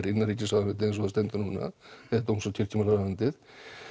innanríkisráðuneytið eins og það stendur núna dóms og kirkjumálaráðuneytið